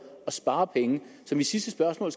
at spare penge så mit sidste spørgsmål